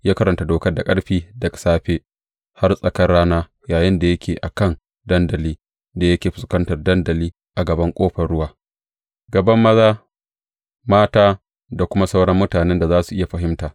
Ya karanta Dokar da ƙarfi daga safe har tsakar rana yayinda yake a kan dandali da yake fuskantar dandali a gaban Ƙofar Ruwa, gaban maza, mata da kuma sauran mutanen da za su iya fahimta.